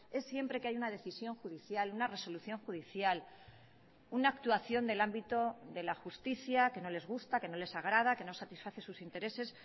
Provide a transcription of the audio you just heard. es siempre que hay una decisión judicial una resolución judicial una actuación del ámbito de la justicia que no les gusta que no les agrada que no satisface sus intereses